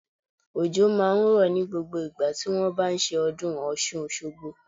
Òjò máa ń rọ̀ ní gbogbo ìgbà tí wón bá ṣe ọdún Ọ̀ṣun Òṣogbo.